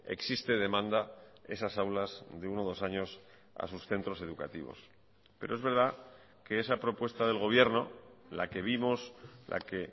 existe demanda esas aulas de uno dos años a sus centros educativos pero es verdad que esa propuesta del gobierno la que vimos la que